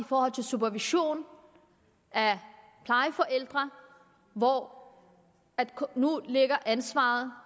forhold til supervision af plejeforældre hvor ansvaret